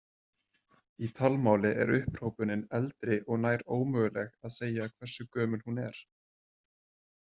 Í talmáli er upphrópunin eldri og nær ómögulegt að segja hversu gömul hún er.